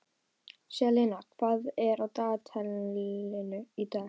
Selina, hvað er á dagatalinu í dag?